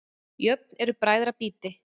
Jöfn eru bræðra býti.